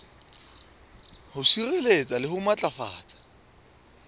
ho sireletsa le ho matlafatsa